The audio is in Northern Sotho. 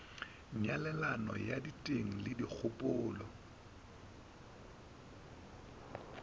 nyalelano ya diteng le dikgopolo